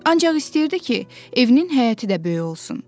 Ancaq istəyirdi ki, evinin həyəti də böyük olsun.